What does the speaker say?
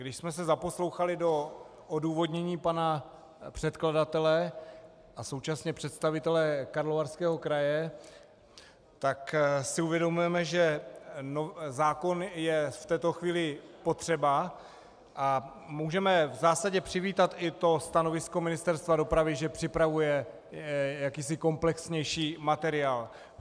Když jsme se zaposlouchali do odůvodnění pana předkladatele a současně představitele Karlovarského kraje, tak si uvědomujeme, že zákon je v této chvíli potřeba, a můžeme v zásadě přivítat i to stanovisko Ministerstva dopravy, že připravuje jakýsi komplexnější materiál.